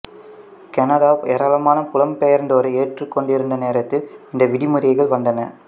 Canada ஏராளமான புலம்பெயர்ந்தோரை ஏற்றுக்கொண்டிருந்த நேரத்தில் இந்த விதிமுறைகள் வந்தன